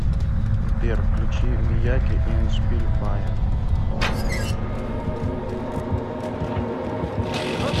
сбер включи мияги и эндшпиль фая